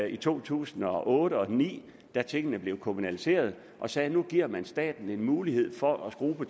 i to tusind og otte og ni da tingene blev kommunaliseret og sagde at nu giver man staten en mulighed for at skrue på